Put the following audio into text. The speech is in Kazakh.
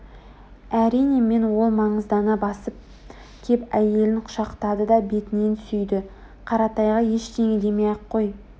Әрине мен ол маңыздана басып кеп әйелін құшақтады да бетінен сүйді қаратайға ештеңе демей-ақ қой